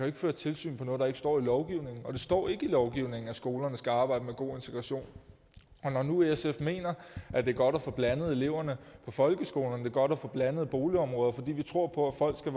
ikke føre tilsyn på noget der ikke står i lovgivningen og det står ikke i lovgivningen at skolerne skal arbejde med god integration og når nu sf mener at det er godt at få blandet eleverne i folkeskolerne det er godt at få blandede boligområder fordi vi tror på at voksne